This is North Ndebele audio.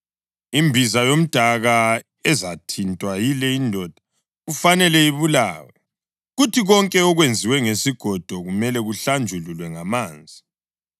Imbiza yomdaka ezathintwa yile indoda kufanele ibulawe, kuthi konke okwenziwe ngesigodo kumele kuhlanjululwe ngamanzi.